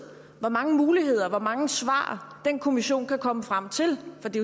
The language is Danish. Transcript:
hvor mange muligheder hvor mange svar den kommission kan komme frem til for det